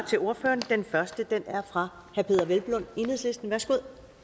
til ordføreren den første er fra herre peder hvelplund enhedslisten værsgo